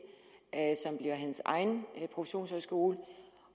case som bliver hans egen professionshøjskole